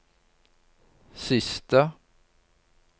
siste